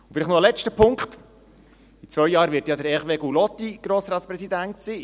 Ein letzter Punkt: In zwei Jahren wird Hervé Gullotti Präsident des Grossen Rates sein.